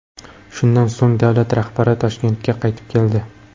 Shundan so‘ng davlat rahbari Toshkentga qaytib keldi.